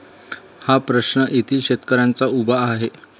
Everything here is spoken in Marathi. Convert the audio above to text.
हा प्रश्न येथील शेतकऱ्यांचा उभा आहे.